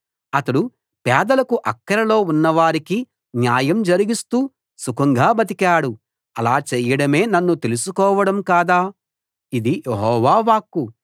అతడు పేదలకూ అక్కరలో ఉన్నవారికీ న్యాయం జరిగిస్తూ సుఖంగా బతికాడు అలా చేయడమే నన్ను తెలుసుకోవడం కాదా ఇది యెహోవా వాక్కు